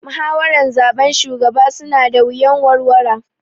Muhawaran zaben shugaba su na da wuyan warwara